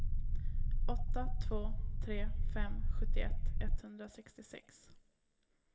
åtta två tre fem sjuttioett etthundrasextiosex